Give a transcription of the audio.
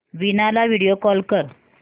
वीणा ला video call कर